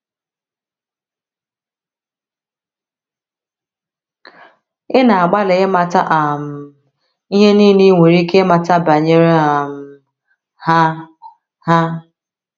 Ị na - agbalị ịmata um ihe nile i nwere ike ịmata banyere um ha ha.